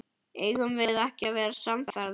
Eigum við ekki að verða samferða?